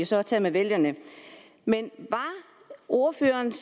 så tage med vælgerne men var ordførerens